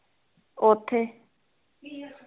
ਓਥੇ